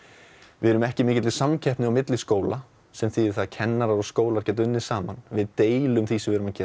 við erum ekki í mikilli samkeppni milli skóla sem þýðir að kennarar og skólar geta unnið saman við deilum því sem við erum að gera